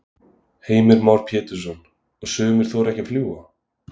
Heimir Már Pétursson: Og sumir þora ekki að fljúga?